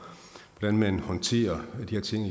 den måde man håndterer de her ting